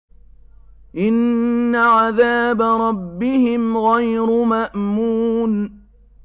إِنَّ عَذَابَ رَبِّهِمْ غَيْرُ مَأْمُونٍ